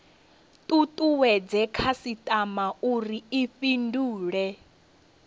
tutuwedze khasitama uri i fhindule